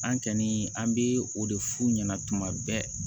An kɔni an bɛ o de f'u ɲɛna tuma bɛɛ